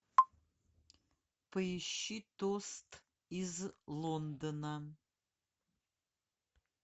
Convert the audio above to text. поищи тост из лондона